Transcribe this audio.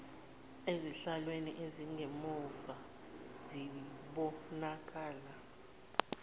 ezihlalweni ezingemumva zibonakala